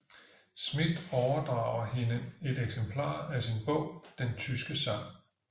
Schmidt overdrager hende et eksemplar af sin bog Den tyske sang